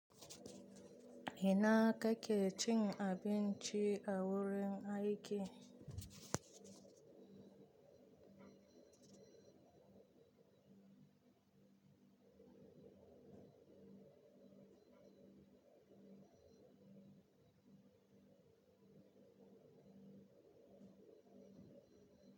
Ina kake cin abinci a wurin aiki?